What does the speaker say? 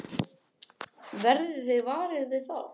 Verðið þið varir við það?